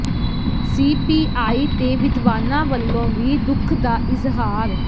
C P I ਤੇ ਵਿਦਵਾਨਾਂ ਵੱਲੋਂ ਵੀ ਦੁੱਖ ਦਾ ਇਜ਼ਹਾਰ